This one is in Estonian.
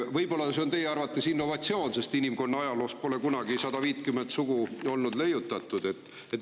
Võib-olla see on teie arvates innovatsioon, sest inimkonna ajaloos pole kunagi 150 sugu leiutatud.